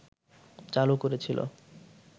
চালু করেছিল